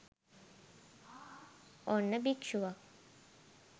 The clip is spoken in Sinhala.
ඔන්න භික්ෂුවක්